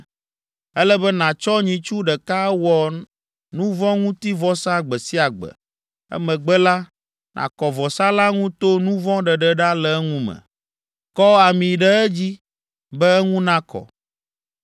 Ele be nàtsɔ nyitsu ɖeka awɔ nuvɔ̃ŋutivɔsa gbe sia gbe. Emegbe la, nàkɔ vɔsa la ŋu to nu vɔ̃ ɖeɖe ɖa le eŋu me. Kɔ ami ɖe edzi be eŋu nakɔ.